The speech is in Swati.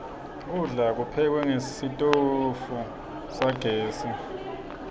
kudla kuphekwe ngesitfu sagezi